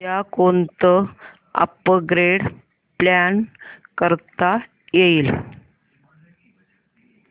उद्या कोणतं upgrade plan करता येईल